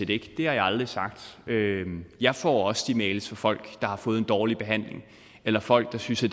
det har jeg aldrig sagt jeg får også de mails fra folk der har fået en dårlig behandling eller folk der synes at